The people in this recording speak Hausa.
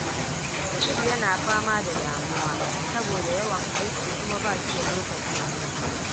Sa’id yana fama da damuwa saboda yawan aiki kuma ba shi da lokacin hutu.